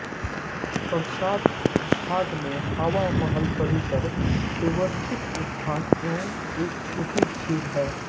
प्रासाद भाग में हवा महल परिसर व्यवस्थित उद्यान एवं एक छोटी झील हैं